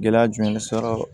Gɛlɛya jumɛn de sɔrɔ